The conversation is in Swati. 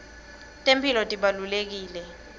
temphilo tibalulekile